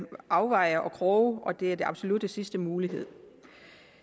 kroge og det er den absolut sidste mulighed